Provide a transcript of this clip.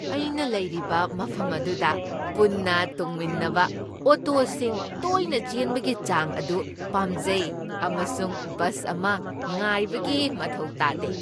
ꯑꯩꯅ ꯂꯩꯔꯤꯕ ꯃꯐꯝ ꯑꯗꯨꯗ ꯄꯨꯟꯅ ꯇꯣꯡꯃꯤꯟꯅꯕ ꯑꯣꯇꯣꯁꯤꯡ ꯇꯣꯏꯅ ꯆꯦꯟꯕꯒꯤ ꯆꯥꯡ ꯑꯗꯨ ꯄꯥꯝꯖꯩ ꯑꯃꯁꯨꯡ ꯕꯁ ꯑꯃ ꯉꯥꯏꯕꯒꯤ ꯃꯊꯧ ꯇꯥꯗꯦ꯫